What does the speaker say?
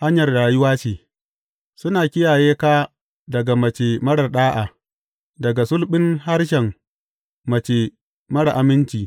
hanyar rayuwa ce, suna kiyaye ka daga mace marar ɗa’a daga sulɓin harshen mace marar aminci.